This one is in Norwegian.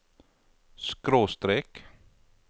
skråstrek